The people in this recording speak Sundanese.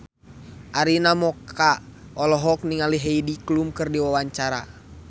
Arina Mocca olohok ningali Heidi Klum keur diwawancara